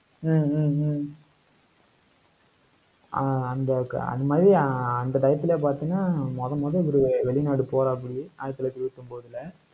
ஹம் ஹம் ஹம் ஆஹ் அந்த, அது மாதிரி, ஆஹ் அஹ் அந்த டயத்துல பாத்தீங்கன்னா, மொத மொத இவரு வெளிநாடு போறாப்பிடி ஆயிரத்தி தொள்ளாயிரத்தி இருபத்தி ஒன்பதுல.